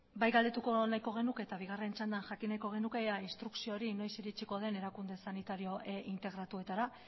bai galdetuko nahiko genuke eta bigarren txandan jakin nahiko genuke ea instrukzio hori noiz iritsiko den erakunde sanitario integratuetara